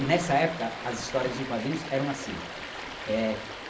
E nessa época, as histórias em quadrinhos eram assim é...